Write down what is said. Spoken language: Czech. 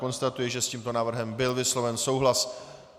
Konstatuji, že s tímto návrhem byl vysloven souhlas.